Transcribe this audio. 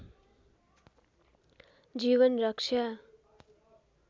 जीवन रक्षा